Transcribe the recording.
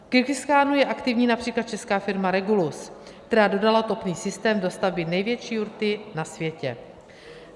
V Kyrgyzstánu je aktivní například česká firma Regulus, která dodala topný systém do stavby největší jurty na světě.